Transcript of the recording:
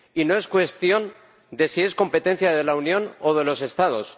Y no es cuestión de si es competencia de la Unión o de los Estados.